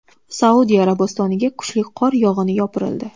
Saudiya Arabistoniga kuchli qor yog‘ini yopirildi .